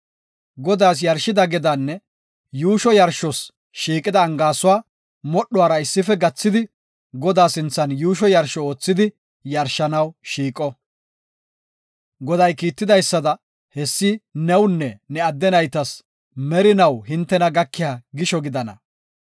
Godaas yarshida gedaanne yuusho yarshos shiiqida angaasuwa modhuwara issife gathidi Godaa sinthan yuusho yarsho oothidi yarshanaw shiiqo. Goday kiitidaysada, hessi newunne ne adde naytas merinaw hintena gakiya gisho gidana.